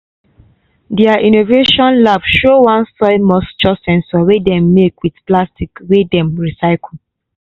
dia innovation lab show one soil moisture sensor wey dem make with plastic wey dem recycle